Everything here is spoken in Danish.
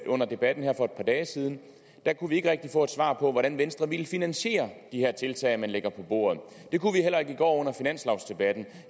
under debatten her for et par dage siden kunne vi ikke rigtig få et svar på hvordan venstre ville finansiere de her tiltag man lægger på bordet det kunne vi heller ikke i går under finanslovdebatten